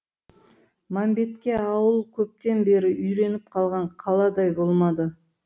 мәмбетке ауыл көптен бері үйреніп қалған қаладай болмады